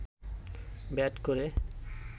bat করে